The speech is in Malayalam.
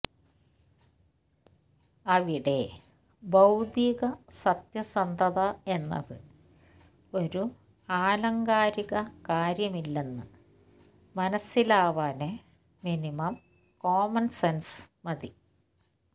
അവിടെ ബൌദ്ധിക സത്യസന്ധത എന്നത് ഒരു ആലങ്കാരിക കാര്യമില്ലെന്ന് മനസിലാവാന് മിനിമം കോമണ്സെന്സ് മതി